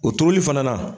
O turuli fana na